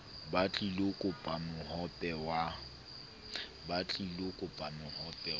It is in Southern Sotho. ba tlilo kopa mohope wa